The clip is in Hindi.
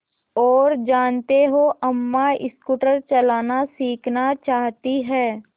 और जानते हो अम्मा स्कूटर चलाना सीखना चाहती हैं